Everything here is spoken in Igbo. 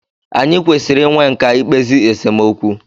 Anyị kwesịrị i nwe nkà i kpezi esemokwu.